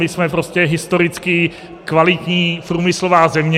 My jsme prostě historicky kvalitní průmyslová země.